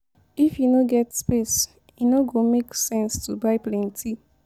If you no get space, e no go make sense to buy plenty.